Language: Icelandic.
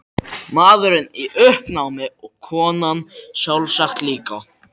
Maðurinn í uppnámi og konan sjálfsagt líka.